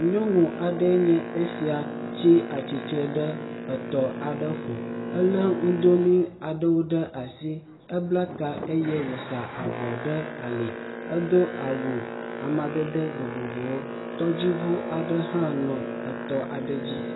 Nyɔnu aɖee nye esia tsi tsitre ɖe etɔ aɖe ƒo. Ele nudonuie aɖewo ɖe asi. Eblata eye woza avɔ ɖe ali. Edo awu amadede vovovowo. Tɔdziŋu ɖe hã nɔ etɔ aɖe dzi.